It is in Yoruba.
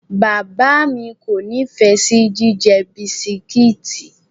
Bàbáà mi kò nífẹ̀ẹ́ sí jíjẹ bisikíìtì.